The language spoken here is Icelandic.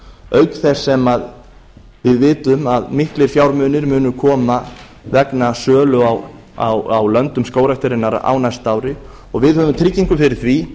auk þess sem við vitum að miklir fjármunir munu koma vegna sölu á löndum skógræktarinnar á næsta ári og við höfum tryggingu fyrir því